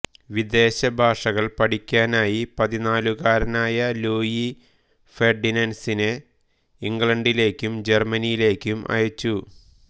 വിദേശഭാഷകൾ പഠിക്കാനായി പതിനാലുകാരനായ ലൂയി ഫെർഡിനൻഡിനെ ഇംഗ്ലണ്ടിലേക്കും ജർമനിയിലേക്കും അയച്ചു